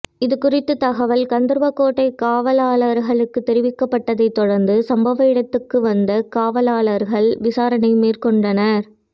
இதுகுறித்து தகவல் கந்தர்வகோட்டை காவலாளர்களுக்கு தெரிவிக்கப்பட்டதை தொடர்ந்து சம்பவ இடத்துக்குச் வந்த காவலாளர்கள் விசாரணை மேற்கொண்டனர்